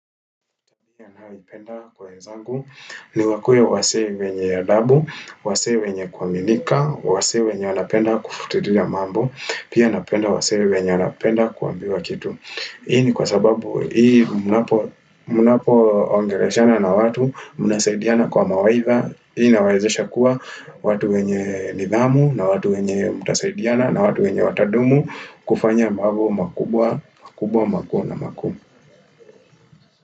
Ninayoipenda kwa wenzangu ni wakuwe wasee wenye adabu, wasee wenye kuaminika, wasee wenye wanapenda kufuatilia mambo, pia napenda wasee wenye wanapenda kuambiwa kitu. Hii ni kwasababu hii mnapo mnapoongeleshana na watu, mnasaidiana kwa mawaidha, hii inawaezesha kuwa watu wenye nidhamu na watu wenye mtasaidiana na watu wenye watadumu kufanya mambo makubwa, makubwa, makubwa na makuu.